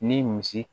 Ni misi